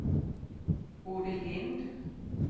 Bodil Lindh